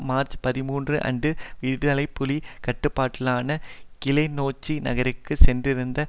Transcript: March பதிமூன்று அன்று விடுதலை புலி கட்டுப்பாட்டிலான கிளிநொச்சி நகருக்கு சென்றிருந்த